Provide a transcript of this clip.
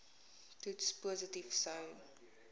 toets positief sou